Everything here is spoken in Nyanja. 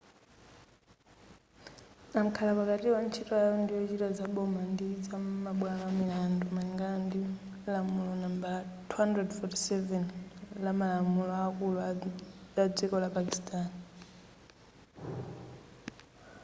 amkhala pakatiwa ntchito yawo ndiyochita zaboma ndi zamabwalo amilandu malingana ndi lamulo nambala 247 lamumalamulo akulu adziko la pakistani